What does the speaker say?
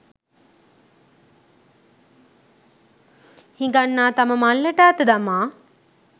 හිඟන්නා තම මල්ලට අත දමා